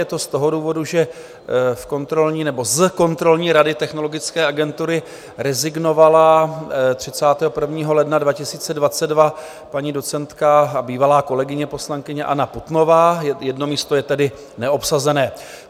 Je to z toho důvodu, že z kontrolní rady Technologické agentury rezignovala 31. ledna 2022 paní docentka a bývalá kolegyně, poslankyně Anna Putnová, jedno místo je tedy neobsazené.